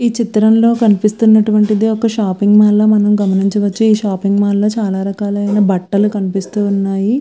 ఈ చిత్రం లో కనిపిస్తునటు వంటిది ఒక షాపింగ్ మాల్ ల మనం గమనించవచ్చు. షాపింగ్ మాల్ లో చాల రకాల బట్టలు కనిపిస్తూ వున్నాయ్.